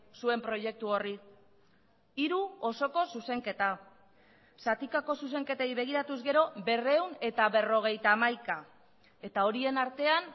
zuen proiektu horri hiru osoko zuzenketa zatikako zuzenketei begiratuz gero berrehun eta berrogeita hamaika eta horien artean